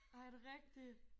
Ej er det rigtigt?